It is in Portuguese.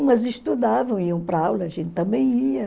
Umas estudavam, iam para aula, a gente também ia.